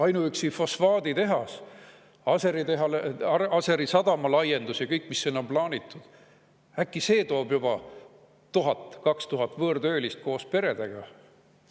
Ainuüksi fosfaaditehas, Aseri sadama laiendus ja kõik, mis sinna on plaanitud – äkki juba see toob 1000 või 2000 võõrtöölist koos peredega?